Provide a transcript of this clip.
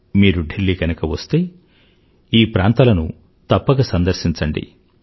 మీరు ఢిల్లీ వస్తే గనుక ఈ ప్రాంతాలను తప్పక సందర్శించండి